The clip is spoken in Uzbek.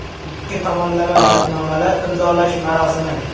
Ikki tomonlama shartnomalar imzolash marosimi.